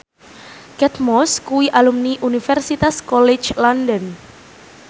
Kate Moss kuwi alumni Universitas College London